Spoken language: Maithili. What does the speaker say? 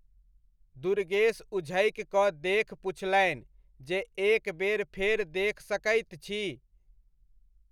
दुर्गेश उझकि कऽ देख पुछैलनि जे एक बेर फेर देख सकैत छी?